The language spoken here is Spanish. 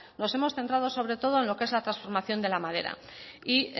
nos hemos centrado sobre todo en lo que es la transformación de la madera y